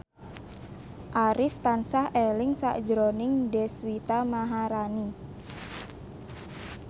Arif tansah eling sakjroning Deswita Maharani